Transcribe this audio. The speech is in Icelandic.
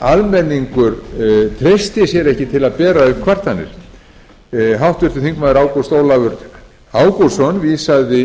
almenningur treystir sér ekki til að bera upp kvartanir háttvirtir þingmenn ágúst ólafur ágústsson vísaði